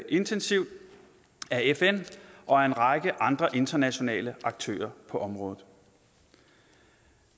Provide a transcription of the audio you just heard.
intensivt af fn og af en række andre internationale aktører på området